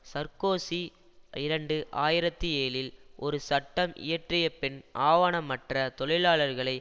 Sarkozy இரண்டு ஆயிரத்தி ஏழில் ஒரு சட்டம் இயற்றியபின் ஆவணமற்ற தொழிலாளர்களை